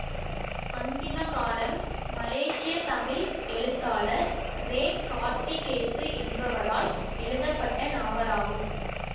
அந்திம காலம் மலேசிய தமிழ் எழுத்தாளர் ரெ கார்த்திகேசு என்பவரால் எழுதப்பட்ட நாவலாகும்